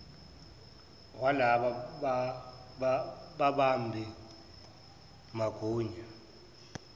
walaba babambi magunya